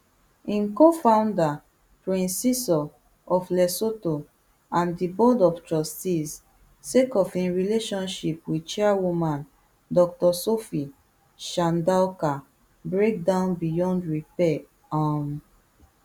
im cofounder prince seeiso of lesotho and di board of trustees sake of im relationship wit chairwoman dr sophie chandauka break down beyond repair um